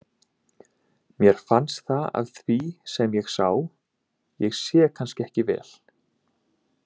Mér fannst það af því sem ég sá, ég sé kannski ekki vel.